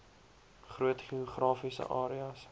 groot geografiese areas